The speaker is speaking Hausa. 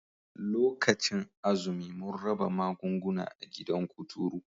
Lokacin azumi mun raba magunguna a gidan kuturu